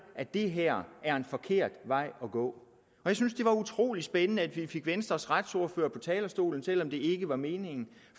at det her er en forkert vej at gå jeg synes det var utrolig spændende at vi fik venstres retsordfører på talerstolen selv om det ikke var meningen